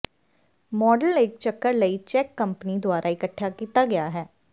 model ਇੱਕ ਚੱਕਰ ਲਈ ਚੈੱਕ ਕੰਪਨੀ ਦੁਆਰਾ ਇਕੱਠੇ ਕੀਤਾ ਗਿਆ ਹੈ